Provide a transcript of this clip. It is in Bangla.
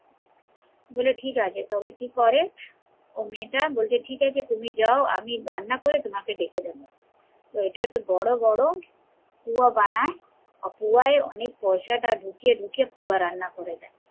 বলে ঠিকাছে, তবে কি করে মেয়েটা বলছে ঠিকাছে তুমি যাও আমি রান্না করে তোমাকে ডেকে নেবো, বলে বড়ো বড়ো পুয়া বানায় পুয়ায় অনেক পয়সা টা ঢুকিয়ে ঢুকিয়ে পুয়া রান্না করে দে